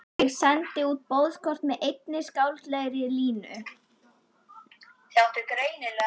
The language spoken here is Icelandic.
Ég sendi út boðskort með einni skáldlegri línu.